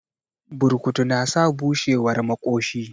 Burkutu na sa bushewar maƙoshi